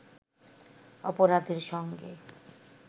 অপরাধের সঙ্গে